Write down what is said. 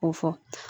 Ko fɔ